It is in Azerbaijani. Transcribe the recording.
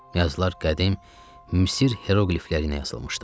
Yazılar qədim Misir heroqliflərinə yazılmışdı.